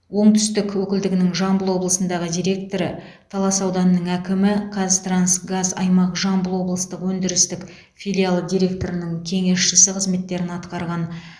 оңтүстік өкілдігінің жамбыл облысындағы директоры талас ауданының әкімі қазтрансгаз аймақ жамбыл облыстық өндірістік филиалы директорының кеңесшісі қызметтерін атқарған